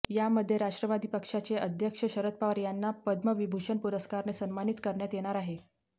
यामध्ये राष्ट्रवादी पक्षाचे अध्यक्ष शरद पवार यांना पद्मविभूषण पुरस्काराने सन्मानित करण्यात येणार आहे